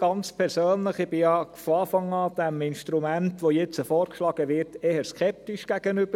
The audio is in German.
Ich persönlich stand diesem Instrument, das nun vorgeschlagen wird, von Anfang an eher skeptisch gegenüber.